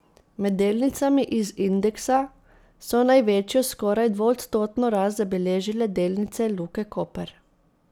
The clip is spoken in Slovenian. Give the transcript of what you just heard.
Med delnicami iz indeksa so največjo, skoraj dvoodstotno rast zabeležile delnice Luke Koper.